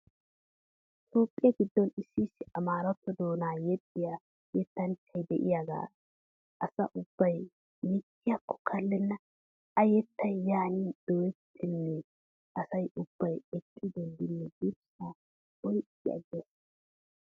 Toophphiya giddon issi amaaratto doonaa yexxiyaa yettanchay diyaagaa asa ubbay mittiyaakko kallenna. A yettay yaani dooyettaanne asay ubbay eqqi denddinne durssaa oyqqi agees.